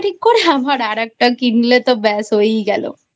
ঠিক করে আবার আর একটা কিনলে তো বেশ হয়েই গেলোI